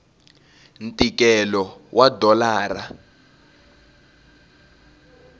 ntikelo wa dolara